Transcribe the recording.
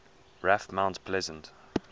raf mount pleasant